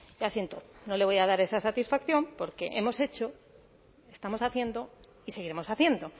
ya siento no le voy a dar esa satisfacción porque hemos hecho estamos haciendo y seguiremos haciendo